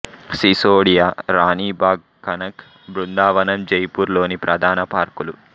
సిసోడియా రాణి బాగ్ కనక్ బృందావన్ జైపూర్ లోని ప్రధాన పార్కులు